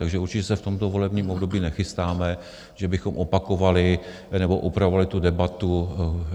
Takže určitě se v tomto volebním období nechystáme, že bychom opakovali nebo upravovali tu debatu.